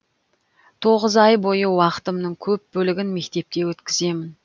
тоғыз ай бойы уақытымның көп бөлігін мектепте өткіземін